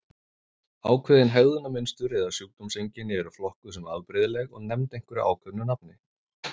Ákveðin hegðunarmynstur eða sjúkdómseinkenni eru flokkuð sem afbrigðileg og nefnd einhverju ákveðnu nafni.